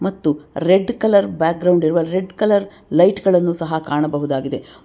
ಮತ್ತು red colour background ಇರುವ red colour light ಗಳನ್ನು ಸಹ ಕಾಣಬಹುದಾಗಿದೆ.